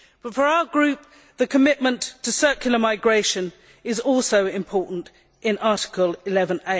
For our group, the commitment to circular migration is also important in Article 11.